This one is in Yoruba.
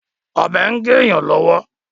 Ọ̀bẹ ń gé èyàn lọ́wọ́.